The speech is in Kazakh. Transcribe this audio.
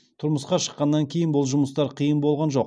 тұрмысқа шыққаннан кейін бұл жұмыстар қиын болған жоқ